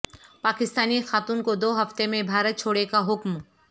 پاکستانی خاتون کو دو ہفتےمیں بھارت چھوڑے کا حکم